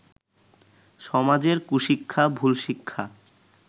সমাজের কুশিক্ষা, ভুল শিক্ষা